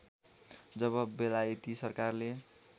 जब बेलायती सरकारले